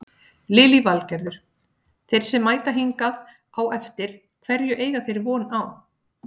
Lillý Valgerður: Þeir sem mæta hingað á eftir hverju eiga þeir von á?